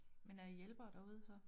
Men er jo hjælpere derude så?